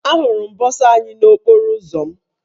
Ahụrụ m bọsa anyị n'okporo ụzọ m.